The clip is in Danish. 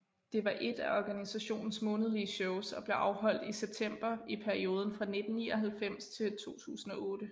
Det var ét af organisationens månedlige shows og blev afholdt i september i perioden fra 1999 til 2008